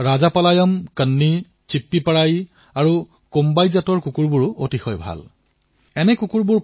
ৰাজাপালায়ম কন্নী চিপ্পীপৰাই আৰু কোম্বাইও উন্নত জাতৰ ভাৰতী কুকুৰ হয়